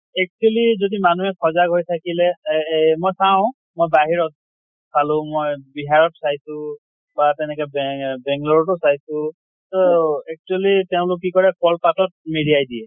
actually যদি মানুহে সজাগ হৈ থাকিলে এ এহ মই চাওঁ মই বাহিৰত চালো মই বিহাৰত চাইছো বা তেনেকে বেং বেংলʼৰ টো চাইছো। তহ actually তেওঁলোক কি কৰে কল পাতত মেৰিয়াই দিয়ে।